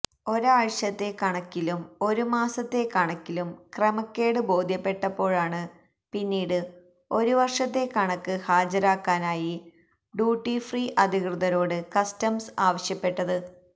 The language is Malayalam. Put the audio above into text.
ഒരാഴ്ചത്തെ കണക്കിലും ഒരുമാസത്തെ കണക്കിലും ക്രമക്കേട് ബോധ്യപ്പെട്ടപ്പോഴാണ് പിന്നീട് ഒരു വര്ഷത്തെ കണക്ക് ഹാജരാക്കാനായി ഡ്യൂട്ടിഫ്രീ അധികൃതരോട് കസ്റ്റംസ് ആവശ്യപ്പെട്ടത്